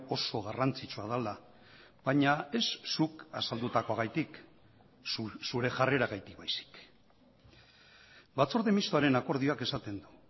oso garrantzitsua dela baina ez zuk azaldutakoagatik zure jarreragatik baizik batzorde mistoaren akordioak esaten du